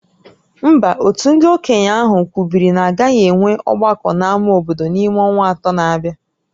Mba, òtù ndị okenye ahụ kwubiri na a gaghị enwe ọgbakọ n'ámá obodo n'ime ọnwa atọ na-abịa